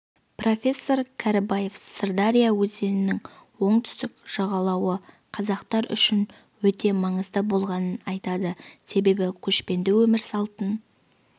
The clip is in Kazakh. профессор кәрібаев сырдария өзенінің оңтүстік жағалауы қазақтар үшін өте маңызды болғанын айтады себебі көшпенді өмір салтын